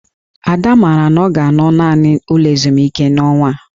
Ada maara na ọ ga-anọ naanị n'ụlọ ezumike n'ọnwa a